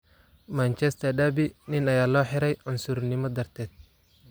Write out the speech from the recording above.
Manchester derby: Nin ayaa loo xiray cunsurinimo daarted